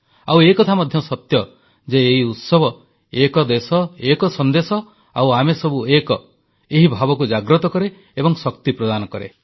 ଆଉ ଏକଥା ମଧ୍ୟ ସତ୍ୟ ଯେ ଏହି ଉତ୍ସବ ଏକ ଦେଶ ଏକ ସନ୍ଦେଶ ଆଉ ଆମେସବୁ ଏକ ଏହି ଭାବକୁ ଜାଗ୍ରତ କରେ ଏବଂ ଶକ୍ତି ପ୍ରଦାନ କରେ